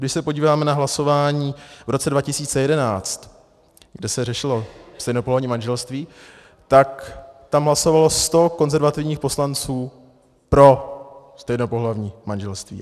Když se podíváme na hlasování v roce 2011, kde se řešilo stejnopohlavní manželství, tak tam hlasovalo sto konzervativních poslanců pro stejnopohlavní manželství.